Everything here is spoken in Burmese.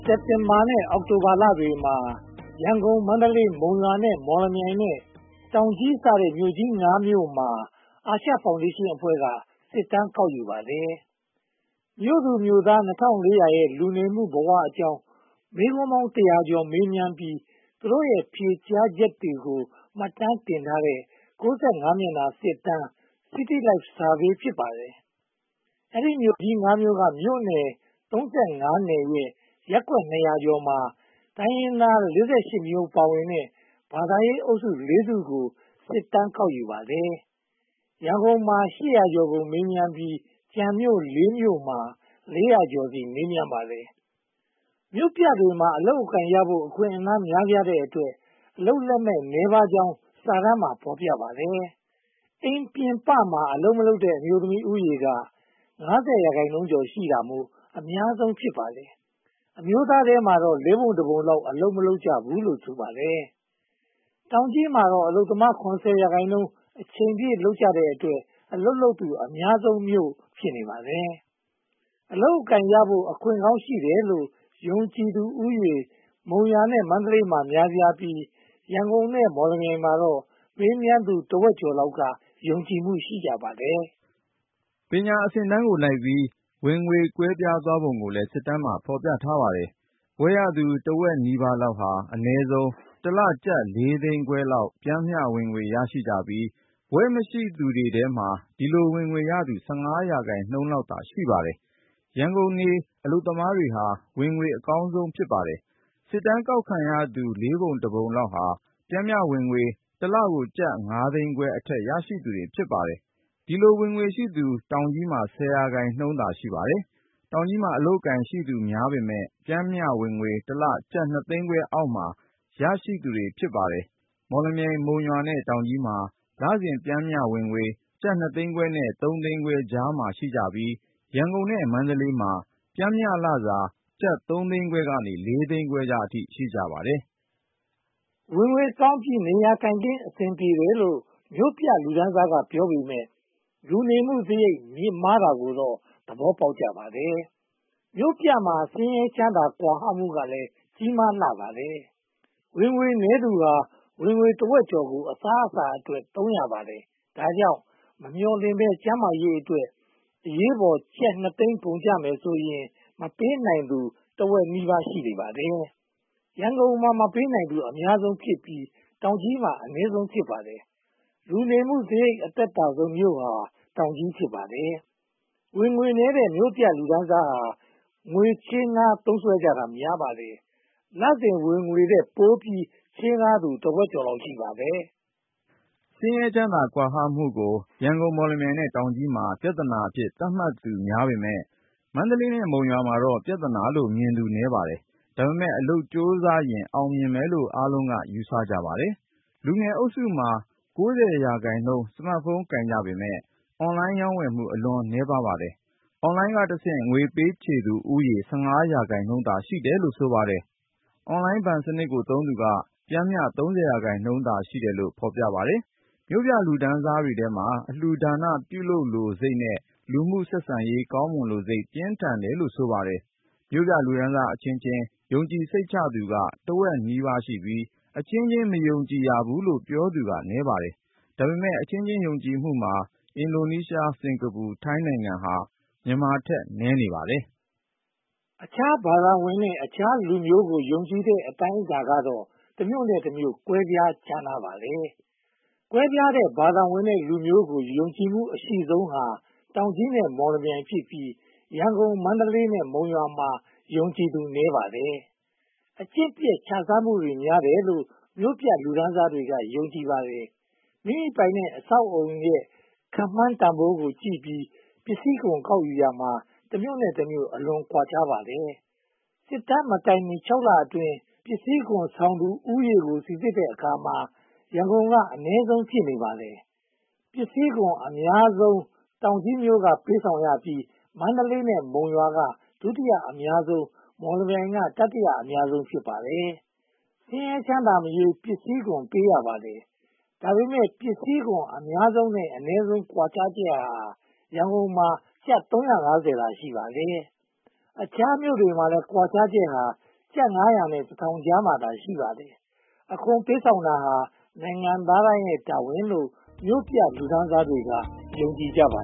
စက်တင်ဘာလနဲ့ အောက်တိုဘာလတွေမှာ ရန်ကုန်၊ မန္တလေး၊ မုံရွာ၊ မော်လမြိုင်နဲ့ တောင်ကြီးမြို့စတဲ့ မြို့ (၅) မြို့မှာ အာရှဖောင်ဒေးရှင်းအဖွဲ့က စစ်တမ်းကောက်ယူပါတယ်။ မြို့သူမြို့သား (၂၄၀၀) ရဲ့ လူနေမှုဘဝအကြောင်း မေးခွန်းပေါင်း တစ်ရာကျော်မေးမြန်းပြီး သူတို့တွေရဲ့ ဖြေကြားချက်တွေကို မှတ်တမ်းတင်ထားတဲ့ (၉၅) စာမျက်နှာ စစ်တမ်း - City Life Survey ဖြစ်ပါတယ်။ ဒီမြို့ကြီးငါးမြို့က မြို့နယ် (၃၅) နယ်ရဲ့ ရပ်ကွက်နှစ်ရာကျော်မှာ တိုင်းရင်းသား (၄၈) မျိုး ပါဝင်တဲ့ ဘာသာရေးအုပ်စု (၄) စုကို စစ်တမ်းကောက်ယူပါတယ်။ ရန်ကုန်မှာ (၈၀၀) ကျော်ကို မေးမြန်းပြီး ကျန်မြို့ (၄) မြို့မှာ (၄၀၀) ကျော်ကို မေးမြန်းပါတယ်။ မြို့ပြတွေမှာ အလုပ်အကိုင်ရဖို့ အခွင့်အလမ်းများပြားတဲ့အတွက် အလုပ်လက်မဲ့နည်းပါးကြောင်း စစ်တမ်းမှာ ဖော်ပြထားပါတယ်။ အိမ်ပြင်ပမှာ အလုပ်မလုပ်တဲ့ အမျိုးသမီးဦးရေက (၅၀) ရာခိုင်နှုန်းကျော်ရှိတာမို့ အများဆုံးဖြစ်ပါတယ်။ အမျိုးသားထဲမှာတော့ လေးပုံတပုံလောက် အလုပ်မရှိကြဘူးလို့ ဆိုပါတယ်။ တောင်ကြီးမှာတော့ အလုပ်သမား (၇၀) ရာခိုင်နှုန်း အချိန်ပြည့်လုပ်ကြတဲ့အတွက် အလုပ်လုပ်သူ အများဆုံးမြို့ ဖြစ်နေပါတယ်။ အလုပ်အကိုင်ရဖို့ အခွင့်အကောင်းရှိတယ်လို့ ယုံကြည်သူဦးရေ မုံရွာနဲ့ မန္တလေးမှာ များပြားပြီး ရန်ကုန်နဲ့ မော်လမြိုင်မှာတော့ မေးမြန်းသူတဝက်ကျော်က ယုံကြည်မှု ရှိကြပါတယ်။ ပညာရေးအဆင့်အတန်းကိုလိုက်ပြီး ဝင်ငွေကွဲပြားသွားပုံကိုလည်း စစ်တမ်းမှာ ဖော်ပြထားပါတယ်။ ဘွဲ့ရသူတဝက်နီးပါးလောက်ဟာ အနည်းဆုံး တစ်လကျပ် (၄) သိန်းခွဲလောက် ပျမ်းမျှဝင်ငွေရရှိကြပြီး ဘွဲ့မရှိသူတွေထဲမှာ ဒီလိုဝင်ငွေရသူ (၁၅) ရာခိုင်နှုန်းလောက်သာ ရှိပါတယ်။ ရန်ကုန်နေအလုပ်သမားဟာ ဝင်ငွေအကောင်းဆုံးပါ။ စစ်တမ်းကောက်ခံရသူ လေးပုံတပုံလောက်သာ ပျမ်းမျှဝင်ငွေ တလကျပ် (၅) သိန်းခွဲအထက် ရရှိသူတွေ ဖြစ်ပါတယ်။ ဒီလိုဝင်ငွေရရှိသူတွေ တောင်ကြီးမှာ (၁၀) ရာခိုင်နှုန်းသာ ရှိပါတယ်။ တောင်ကြီးမှာ အလုပ်အကိုင်ရှိသူများပေမယ့် ပျမ်းမျှဝင်ငွေ (၂) သိန်းခွဲအောက်မှာ ရရှိသူတွေ ဖြစ်ပါတယ်။ မော်လမြိုင်၊ မုံရွာနဲ့ တောင်ကြီးတို့မှာ လစဉ်ပျမ်းမျှဝင်ငွေ ကျပ် (၂) သိန်းခွဲနဲ့ (၃)သိန်းခွဲကြားမှာ ရှိကြပြီး၊ ရန်ကုန်နဲ့ မန္တလေးမှာ ပျမ်းမျှလစာ ကျပ်(၃)သိန်းခွဲကနေ (၄)သိန်းခွဲအထိ ရကြပါတယ်။ ဝင်ငွေကောင်းပြီး နေရာထိုင်ခင်း အဆင်ပြေတယ်လို့ မြို့ပြလူတန်းစားက ပြောပေမယ့် လူနေမှုစရိတ်မြှင့်မားတာကိုတော့ သဘောပေါက်ကြပါတယ်။ မြို့ပြမှာ ဆင်းရဲချမ်းသာ ကွာဟမှုကလည်း ကြီးမားလှပါတယ်။ ဝင်ငွေနည်းသူတွေဟာ ဝင်ငွေတဝက်ကျော်ကို အစားအစာအတွက် သုံးရပါတယ်။ ဒါကြောင့် မမျှော်လင့်ဘဲ ကျန်းမာရေးအတွက် အရေးပေါ် ကျပ်(၂)သိန်း ကုန်ကျမယ်ဆိုရင် မပေးနိုင်သူ တဝက်ကျော်နီးပါး ရှိနေပါတယ်။ ရန်ကုန်မှာ မပေးနိုင်သူ အများဆုံးဖြစ်ပြီး တောင်ကြီးမှာ အနည်းဆုံး ဖြစ်ပါတယ်။ လူနေမှုစရိတ် အသက်သာဆုံးမြို့ဟာ တောင်ကြီး ဖြစ်ပါတယ်။ ဝင်ငွေနည်းတဲ့ မြို့ပြလူတန်းစားဟာ ချေးငှားသုံးစွဲကြတာ များပါတယ်။ လစဉ်ဝင်ငွေထက်ပိုပြီး ချေးငှားသူတဝက်ကျော် ရှိပါတယ်။ ဆင်းရဲချမ်းသာကွာခြားချက်ကို ရန်ကုန်၊ မော်လမြိုင်နဲ့ တောင်ကြီးမြို့တို့မှာ ပြဿနာအဖြစ် သတ်မှတ်သူများ (၆၄) ရာခိုင်နှုန်း ရှိပေမယ့်၊ မန္တလေးနဲ့ မုံရွာတို့မှာတော့ ပြဿနာလို့မြင်သူ နည်း (၄၄) ရာခိုင်နှုန်းသာ ရှိပါတယ်။ ဒါပေမဲ့ အလုပ်ကြိုးစားရင် အောင်မြင်မယ်လို့ အားလုံးက ယူဆကြပါတယ်။ လူငယ်အုပ်စု အသက် (၁၈-၃၀) မှာ (၉၀) ရာခိုင်နှုန်း စမတ်ဖုန်း ကိုင်ကြပေမယ့် အွန်လိုင်းရောင်းဝယ်မှု အလွန်နည်းပါးပါတယ်။ အွန်လိုင်းကတဆင့် ငွေပေးချေးသူဦးရေ (၁၅) ရာခိုင်နှုန်းသာ ရှိတယ်လို့ ဆိုပါတယ်။ အွန်လိုင်းဘဏ်စနစ်ကိုသုံးသူက ပျမ်းမျှ (၃၀) ရာခိုင်နှုန်းသာ ရှိတယ်လို့ ဖော်ပြထားပါတယ်။ မြို့ပြလူတန်းစားတွေမှာ အလှူဒါနပြုလိုစိတ်နဲ့ လူမှုဆက်ဆံရေး ကောင်းမွန်လိုစိတ် ပြင်းထန်တယ်လို့ ဆိုပါတယ်။ မြို့ပြလူတန်းစားအချင်းချင်း ယုံကြည်စိတ်ချသူက တဝက်နီးပါး (၄၈) ရာခိုင်နှုန်းရှိပြီး၊ အချင်းချင်း မယုံကြည်ရဖူးလို့ ပြောသူက နည်း (၃၃) ရာခိုင်နှုန်း ဖြစ်ပါတယ်။ ဒါပေမဲ့ အချင်းချင်း ယုံကြည်မှုမှာ အင်ဒိုနီးရှားက (၄၀) ရာခိုင်နှုန်း၊ စင်္ကာပူ (၃၈) ရာခိုင်နှုန်း နဲ့ ထိုင်းနိုင်ငံဟာ မြန်မာထက် နည်းနေပါတယ်။ အခြားဘာသာဝင်နဲ့ အခြားလူမျိုးကို ယုံကြည်တဲ့ အတိုင်းအတာကတော့ တမြို့နဲ့တမြို့ ကွဲပြားခြားနားပါတယ်။ ကွဲပြားတဲ့ ဘာသာဝင်နဲ့လူမျိုးကို ယုံကြည်မှုအရှိဆုံးဟာ တောင်ကြီးမြို့ (၆၀)% နဲ့ မော်လမြိုင် (၄၈)% ဖြစ်ပြီး၊ ရန်ကုန် (၂၈)%၊ မန္တလေး (၂၈)% နဲ့ မုံရွာ (၁၈)% တို့မှာ ယုံကြည်သူနည်းပါတယ်။ အကျင့်ပျက်ခြစားမှု များတယ်လို့ မြို့ပြလူတန်းစားတွေက ယုံကြည်ပါတယ်။ မိမိပိုင်တဲ့ အဆောက်အအုံရဲ့ ခန့်မှန်းတန်းဖိုးကိုကြည့်ပြီး ပစ္စည်းခွန်ကောက်ယူရာမှာ တမြို့နဲ့တမြို့ အလွန်ကွာခြားပါတယ်။ စစ်တမ်းမတိုင်မီ (၆) လအတွင်း ပစ္စည်းခွန်ဆောင်သူဦးရေကို စီစစ်တဲ့အခါ ရန်ကုန်က အနည်းဆုံး ဖြစ်နေပါတယ်။ ပစ္စည်းခွန်အများဆုံးမှာ တောင်ကြီးမြို့က (၇၀)% က ပေးဆောင်ရပြီး မန္တလေးနဲ့ မုံရွာက ဒုတိယအများဆုံး (၆၉)%၊ မော်လမြိုင်က တတိယအများဆုံး (၆၀)% ဖြစ်ပါတယ်။ ဆင်းရဲချမ်းသာမရွေး ပစ္စည်းခွန် ပေးရပါတယ်။ ဒါပေမဲ့ ပစ္စည်းခွန်အများဆုံးနဲ့ အနည်းဆုံး ကွာခြားချက်ဟာ ရန်ကုန်မှာ ကျပ် (၃၅၀) သာ ရှိပါတယ်။ အခြားမြို့တွေမှာလည်း ကွားခြားချက်ဟာ ကျပ်ငါးရာနဲ့ တစ်ထောင်ကြားမှာသာ ရှိပါတယ်။ အခွန်ပေးဆောင်တာဟာ နိုင်ငံသားတိုင်းရဲ့ တာဝန်လို့ မြို့ပြလူတန်းစားတွေက ယုံကြည်ကြပါ